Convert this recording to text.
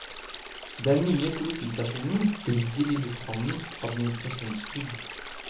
Den nye politistasjonen ligger i lufthavnens administrasjonsbygg.